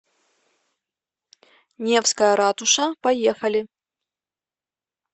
невская ратуша поехали